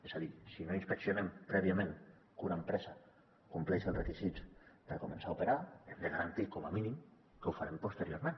és a dir si no inspeccionem prèviament que una empresa compleixi els requisits per començar a operar hem de garantir com a mínim que ho farem posteriorment